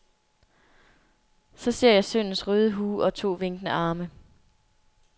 Så ser jeg sønnens røde hue og to vinkende arme.